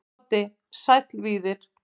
Broddi: Sæll Víðir.